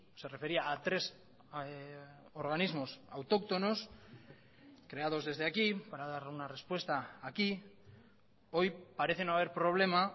se refería a tres organismos autóctonos creados desde aquí para dar una respuesta aquí hoy parece no haber problema